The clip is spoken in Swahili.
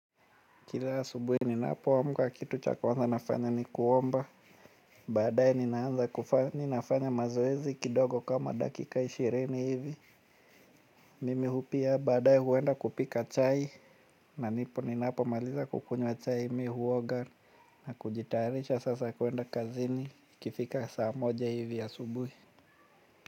Kila ya asubuhi ninapo amka kitu cha kawanza nafanya ni kuomba. Baade nina anza kuvaa mi nafanya mazoezi kidogo kama dakika ishirini hivi. Mimi hupia baadae huenda kupika chai. Na nipo ninapo maliza kukunywa chai mi huoga. Na kujitarisha sasa kuenda kazini ikifika saa moja hivi ya asubuhi.